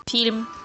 фильм